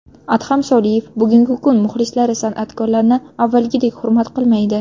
Adham Soliyev: Bugungi kun muxlislari san’atkorlarni avvalgidek hurmat qilmaydi.